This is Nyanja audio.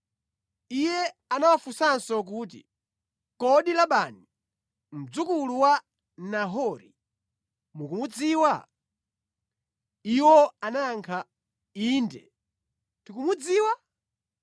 Iye anawafunsanso kuti, “Kodi Labani, mdzukulu wa Nahori mukumudziwa?” Iwo anayankha, “Inde tikumudziwa?”